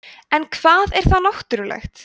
en hvað er þá náttúrulegt